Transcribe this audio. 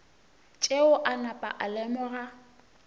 tšeo a napa a lemoga